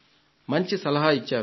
మంచి సలహా ఇచ్చారు